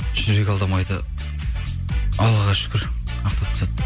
жүрек алдамайды аллаға шүкір ақтап тастады